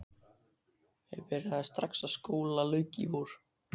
Ég byrjaði strax og skóla lauk í vor.